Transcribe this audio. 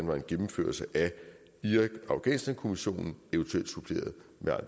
var en gennemførelse af irak og afghanistankommissionen eventuelt suppleret